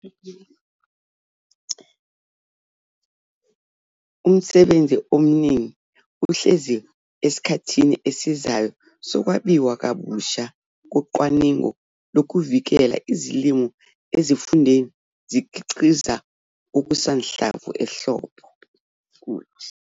Umsebenzi omningi uhlezi esikhathini esizayo sokwabiwa kabusha kocwaningo lokuvikela izilimo ezifundeni zikhiqiza okusanhlamvu ehlobo.